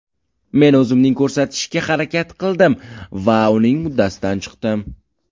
Men o‘zimning ko‘rsatishga harakat qildim va buning uddasidan chiqdim.